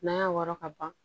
N'a y'a wɔrɔ ka ban